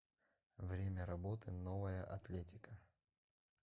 время работы новая атлетика